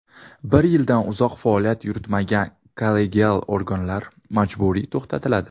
Bir yildan uzoq faoliyat yuritmagan kollegial organlar majburiy tugatiladi.